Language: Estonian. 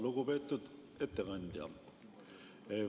Lugupeetud ettekandja!